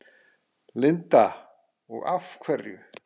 Linda: Og af hverju?